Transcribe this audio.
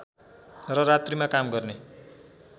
र रात्रिमा काम गर्ने